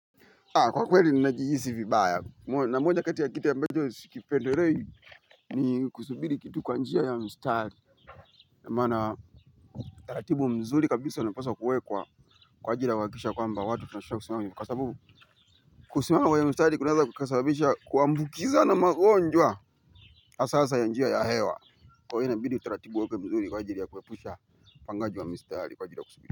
Kwa kweli ninajihisi vibaya na mmoja kati ya kitu ambacho sikipendelei ni kusubiri kitu kwa njia ya mstari. Namana utaratibu mzuri kabisa ulipaswa kuwekwa kwa ajili ya kuhakikisha kwamba watu tunashindwa kusimama kwneye mstari, kwa sababu kusimama kwenye mstari kunaweza kukasabisha kuambukizana magonjwa hasahasa ya njia ya hewa kwahyo inabidi utaratibu uwekwe mzuri kwa ajili ya kuepusha upangaji wa mstari kwa ajili ya kusubiri.